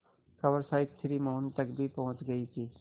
खबर शायद श्री मोहन तक भी पहुँच गई थी